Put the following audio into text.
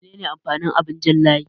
Mene ne amfanin abin jan layi?